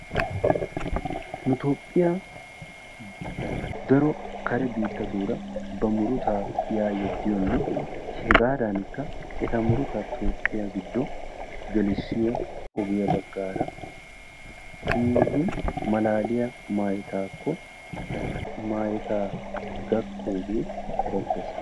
Nu Toophphiya daro kare biittatuura daro ba murutaa yaa yeddiyonne hegaadaanikka eta murutaa Toophphiya gelissiyo ogiya baggaara keehin malaaliya maayetaakko maayotaa gakkoogee erettees.